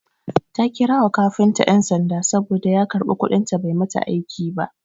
Ta kira wa kafinta ƴan sanda saboda ya karɓi kuɗin ta bai mata aiki ba.